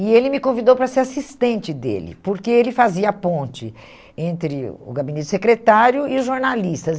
E ele me convidou para ser assistente dele, porque ele fazia ponte entre o gabinete secretário e os jornalistas.